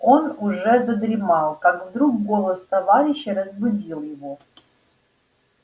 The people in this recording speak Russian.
он уже задремал как вдруг голос товарища разбудил его